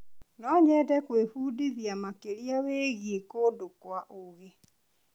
No nyende gwĩbundithia makĩria wĩgiĩ kũndũ kwa ũigi.